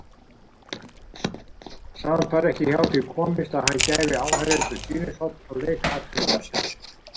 Samt varð ekki hjá því komist að hann gæfi áheyrendum sýnishorn af leik atvinnumannsins.